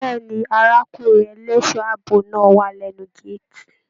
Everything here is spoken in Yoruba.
Bẹ̀ẹ́ni, arákùnrin ẹlẹṣọ ààbò náà wà lẹnu gàátí.